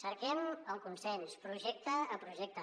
cerquem el consens projecte a projecte